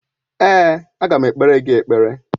Èé, aga m ekpere gị ekpere.